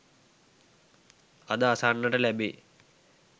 අද අසන්නට ලැබේ.